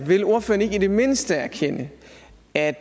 vil ordføreren ikke i det mindste erkende at